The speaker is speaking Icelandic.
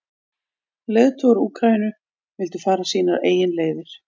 Leiðtogar Úkraínu vildu fara sínar eigin leiðir.